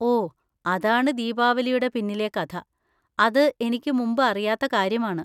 ഓ, അതാണ് ദീപാവലിയുടെ പിന്നിലെ കഥ. അത് എനിക്ക് മുമ്പ് അറിയാത്ത കാര്യമാണ്.